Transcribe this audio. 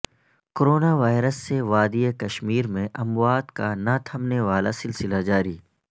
corona virus سے وادی کشمیر میں اموات کا نہ تھمنے والاسلسلہ جاری